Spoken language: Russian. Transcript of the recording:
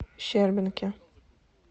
щербинке